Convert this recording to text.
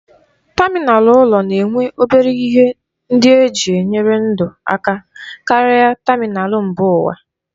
Tamịnal ụlọ na-enwe obere ihe ndị eji enyere ndụ aka karịa tamịnal mba ụwa.